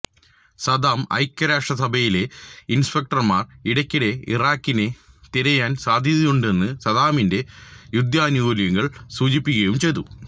Saddam ഐക്യരാഷ്ട്രസഭയിലെ ഇൻസ്പെക്ടർമാർ ഇടയ്ക്കിടെ ഇറാഖിനെ തിരയാൻ സാദ്ധ്യതയുണ്ടെന്ന് സാദ്ദാമിന്റെ യുദ്ധാനുകൂല്യങ്ങൾ സൂചിപ്പിക്കുകയും ചെയ്തു